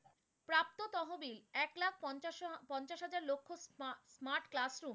তো তহবিল, এক লাখ পঞ্চাশ হাজার লক্ষ smart classroom.